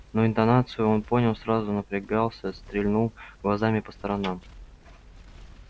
но интонацию он понял сразу напрягался стрельнул глазами по сторонам